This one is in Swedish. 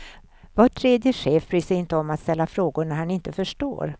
Var tredje chef bryr sig inte om att ställa frågor när han inte förstår.